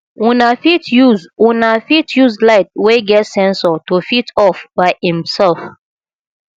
una fit use una fit use light wey get sensor to fit off by im self